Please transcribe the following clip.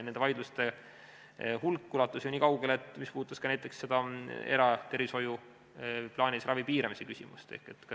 Need vaidlused ulatusid ju kaugele, need puudutasid ka näiteks eratervishoiu plaanilise ravi piiramise küsimust.